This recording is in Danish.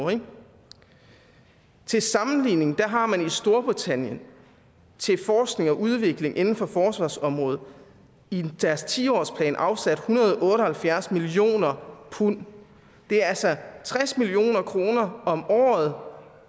til sammenligning har man i storbritannien til forskning og udvikling inden for forsvarsområdet i deres ti årsplan afsat en hundrede og otte og halvfjerds million pund det er altså tres million kroner om året